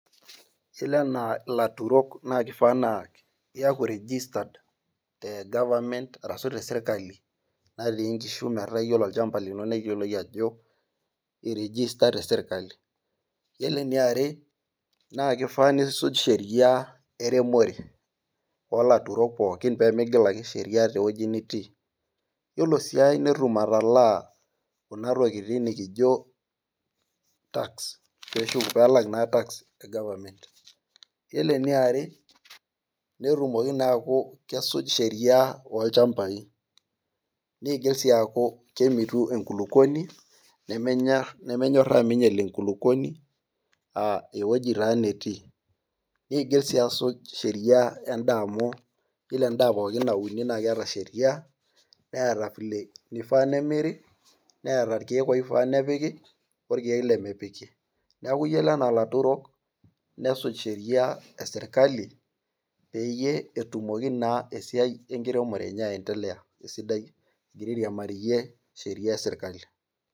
Yiolo enaa ilaturok na kifaa naa iyaku registered te government arashu tesirkali, natii nkishu metaa yiolo olchamba lino neyioloi ajo irijisa tesirkali. Yiolo eniare, na kifaa nisuj sheria eremore. Olaturok pookin pemigil ake sheria tewueji nitii. Yiolo si ai netum atalaa kuna tokiting nikijo tax, pelak naa tax e government. Yiolo eniare, netumoki naa aku kesuj sheria olchambai. Nigil si aku kemitu enkulukuoni, nemenyorraa minyeli enkulukuoni, ah ewoji taa netii. Nigil si asuj sheria endaa amu yiolo endaa pookin nauni na keeta sheria, neeta vile nifaa nemiri, neeta irkeek oifaa nepiki, orkeek lemepiki. Neeku yiolo enaa laturok, nesuj sheria e sirkali, peyie etumoki naa esiai enkiremore enye aendelea esidai egira airiamariyie sheria esirkali.